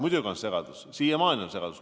Muidugi on segadus, siiamaani on segadus.